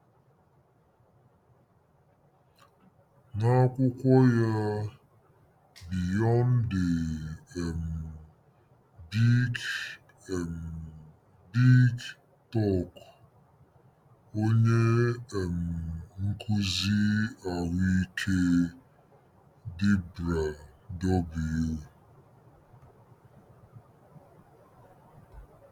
N'akwụkwọ ya Beyond the um Big um Big Talk, onye um nkụzi ahụike Debra W.